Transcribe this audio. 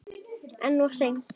En of seinn.